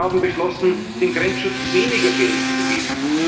Frontex zu kürzen. Sie haben beschlossen, dem Grenzschutz